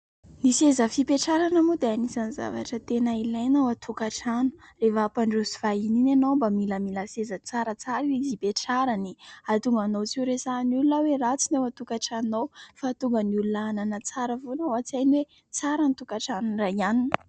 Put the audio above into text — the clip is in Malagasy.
Ny seza fipetrarana moa dia anisan'ny zavatra tena ilaina ao an-tokantrano. Rehafa hampandroso vahiny iny ianao mba milamila seza tsaratsara izy hipetrarany. Ahatonga anao tsy horesahin'ny olona hoe ratsy ny ao an-tokantranonao fa hahatonga ny olona hanana tsara foana ao an-tsainy hoe tsara ny tokantranon'ny ra ianona.